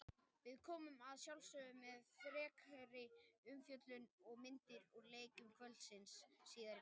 Við komum að sjálfsögðu með frekari umfjöllun og myndir úr leikjum kvöldsins síðar í kvöld.